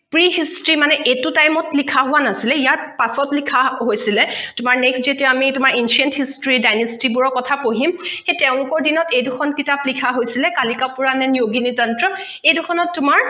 pre history মানে এইটো time ত লিখা হোৱা নাছিলে ইয়াৰ পাছত লিখা হৈছিলে তোমাৰ next যেতিয়া আমি তোমাৰ ancient history dynasty বোৰৰ কখা পঢ়িম সেই তেঁওলোকৰ দিনত এই দুখন কিতাপ লিখা হৈছিলে kalika purana and yogini tantra এই দুখনত তোমাৰ